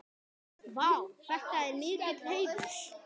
Vá, þetta er mikill heiður.